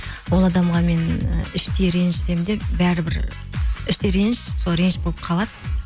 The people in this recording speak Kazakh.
ол адамға мен і іштей ренжісем де бәрібір іштей реніш сол реніш болып қалады